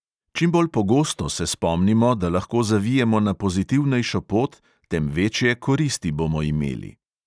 Čim bolj pogosto se spomnimo, da lahko zavijemo na pozitivnejšo pot, tem večje koristi bomo imeli.